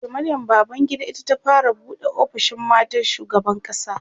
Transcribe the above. Dr Maryam Babangida ita ta fara buɗe ofishin matan shugaban ƙasa